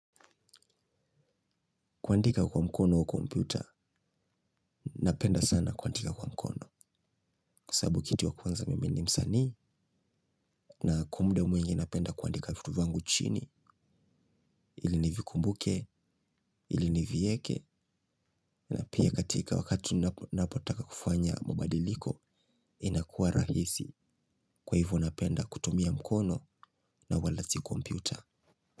Kuandika kwa mkono au kompyuta, napenda sana kuandika kwa mkono. Kwa sababu kitu ya kwanza mimi ni msanii na kwa muda mwingi napenda kuandika vitu vyangu chini. Ili nivikumbuke, ili nivieke na pia katika wakati napotaka kufanya mabadiliko inakuwa rahisi. Kwa hivyo napenda kutumia mkono na wala si komputa.